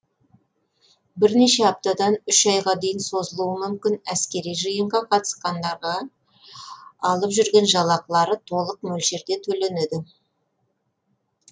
бірнеше аптадан үш айға дейін созылуы мүмкін әскери жиынға қатысқандарға алып жүрген жалақылары толық мөлшерде төленеді